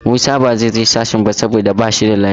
Musa ba zai je sashen ba saboda ba shi da lafiya.